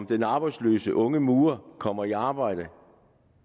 den arbejdsløse unge murer kommer i arbejde